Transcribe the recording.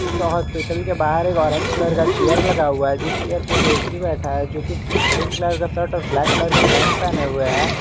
इस हॉस्पिटल के बाहर एक ऑरेंज कलर का चेयर लगा हुआ है जीस चेयर पर व्यक्ति बैठा है जो कि ग्रीन कलर का शर्ट और ब्लैक कलर का पैंट पहने हुए हैं।